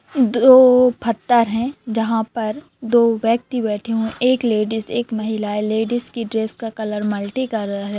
दो पत्थर है जहां पर दो व्यक्ति बैठे हुए है एक लेडिस एक महिला है लेडिस के ड्रेस का कलर मल्टीकलर -----